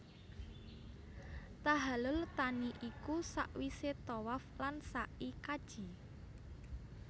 Tahallul thani iku sawise tawaf lan sai kaji